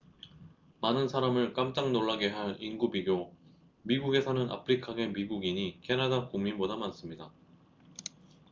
많은 사람을 깜짝 놀라게 할 인구 비교 미국에 사는 아프리카계 미국인이 캐나다 국민보다 많습니다